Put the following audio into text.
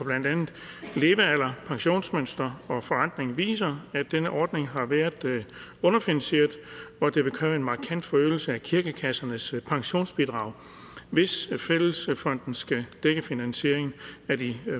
blandt andet levealder pensionsmønster og forrentning viser at denne ordning har været underfinansieret og at det vil kræve en markant forøgelse af kirkekassernes pensionsbidrag hvis fællesfonden skal dække finansieringen af de